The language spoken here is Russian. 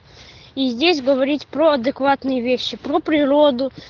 и здесь говорить про адекватные вещи про природу